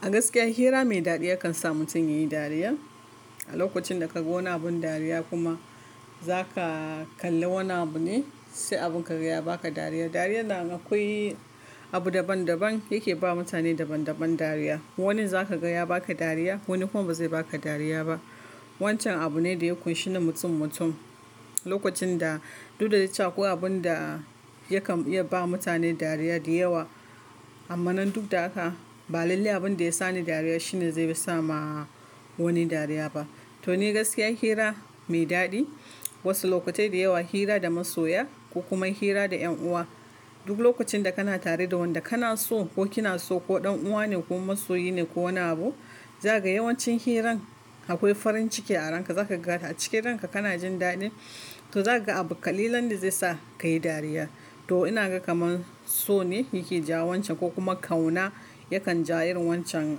A gaskiya hira mai daɗi yakan sa mutum ya yi dariya. A lokacin da ka ga wani abin dariya kuma za ka kalli wani abu ne, sai abin ka ga ya ba ka dariya. Dariyan nan akwai abu daban-daban yake ba mutane daban-daban dariya. Wanin za ka ga ya ba ka dariya, wani kuma ba zai ba ka dariya ba. Wancan abu ne da ya kunshi na mutum-mutum, lokacin da duk da ya cewa akwai abun da yakan iya ba mutane dariya da yawa. Amma nan duk da haka, balalle abin da ya sa ni dariya shine zai yi sa ma wani dariya ba. To ni gaskiya hira mai daɗi, wasu lokatai da yawa hira da masoya ko kuma hira da ƴan uwa, duk lokacin da kana tare da wanda kana so ko kina so ko ɗan uwa ne ko masoyi ne ko wani abu, za ka ga yawancin hirar akwai farin ciki a ranka. Za ka ga a cikin ranka kana jin daɗin, to za ka ga abu ƙalilan da zai sa ka yi dariya. To ina ga kaman so ne yake jawo wancan, ko kuma kauna yakan ja irin wancan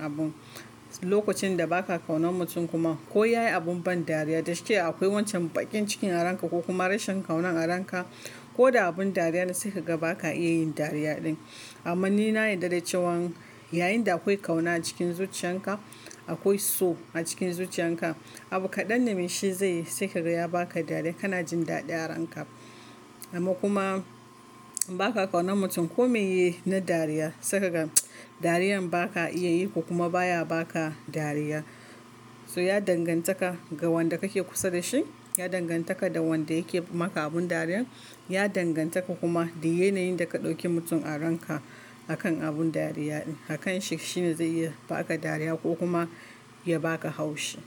abun. Lokacin da ba ka kaunan mutum kuma ko ya yi abin ban dariya da shike akwai wancan baƙin cikin a ranka ko kuma rashin kauna a ranka, ko da abin dariya ne sai ka ga ba ka iya yin dariya ɗin. Amma ni na yarda da cewan yayin da akwai kauna a cikin zuciyan ka, akwai so a cikin zuciyan ka, abu kaɗan da mai shi zai yi sai ka ga ya ba ka dariya. Kana jin daɗin a ranka. Amma kuma ba ka kaunan mutum ko mai yi na dariya, sai ka ga dariyar ba ka iya yi ko kuma baya ba ka dariya. So ya danganta ka ga wanda kake kusa da shi, ya danganta ka da wanda yake maka abin dariyar, ya danganta ka kuma da yanayin da ka ɗauki mutum a ranka a kan abun dariya ɗin. A kanshi shine zai iya ba ka dariya ko kuma ya ba ka haushi.